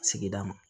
Sigida ma